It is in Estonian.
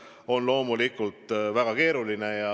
See on loomulikult väga keeruline ülesanne.